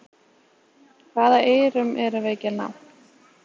Hvaða eyrum erum við ekki að ná?